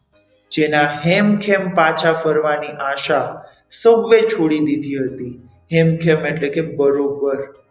જેના હેમ ખેમ પાછા ફરવાની આશા સૌએ છોડી દીધી હતી હેમ ખેમ એટલે કે બરોબર,